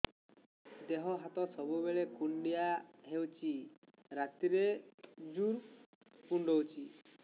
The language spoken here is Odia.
ଦେହ ହାତ ସବୁବେଳେ କୁଣ୍ଡିଆ ହଉଚି ରାତିରେ ଜୁର୍ କୁଣ୍ଡଉଚି